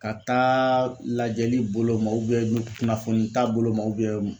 Ka taa lajɛli bolo ma kunnafonita bolo ma